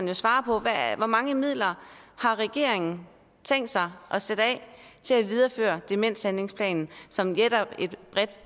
jo svare på hvor mange midler har regeringen tænkt sig at sætte af til at videreføre demenshandlingsplanen som